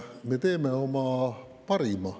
Me teeme oma parima.